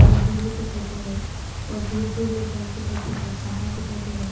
नदी भी दिखाई दे रहे और दूर दूर में घर दिखाई दे रहे पहाड़ दिखाई दे रहे।